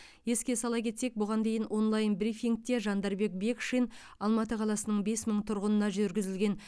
еске сала кетсек бұған дейін онлайн брифингте жандарбек бекшин алматы қаласының бес мың тұрғынына жүргізілген